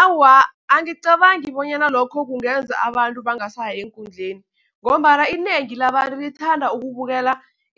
Awa, angicabangi bonyana lokho kungenza abantu bangasayi eenkundleni, ngombana inengi labantu lithanda ukubukela